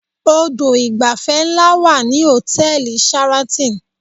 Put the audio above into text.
Odò ìgbafẹ́ ńlá wà ní hòtẹ́ẹ̀lì Sheraton